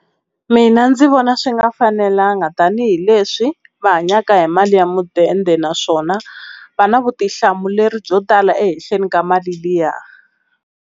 Mina ndzi vona swi nga fanelanga tanihileswi va hanyaka hi mali ya mudende naswona va na vutihlamuleri byo tala ehenhleni ka mali liya.